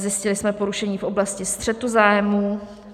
Zjistili jsme porušení v oblasti střetu zájmů.